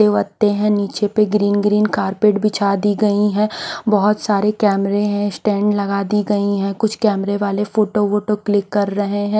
पत्ते वत्ते है नीचे पे ग्रीन ग्रीन कार्पेट बिछा दी गयी है बहोत सारे कैमरे है स्टैंड लगा दी गयी है कुछ कैमरे वाले फोटो वोटो क्लिक कर रहे है।